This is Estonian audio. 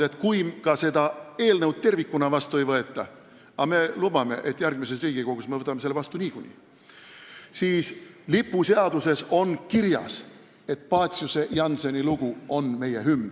Kui seda eelnõu tervikuna ka vastu ei võeta – me lubame, et järgmises Riigikogus me võtame selle vastu niikuinii –, on lipuseaduses kirjas, et Paciuse-Jannseni lugu on meie hümn.